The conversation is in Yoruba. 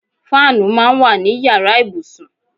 Fáànù máa ń wà ní yàrá ìbùsùn.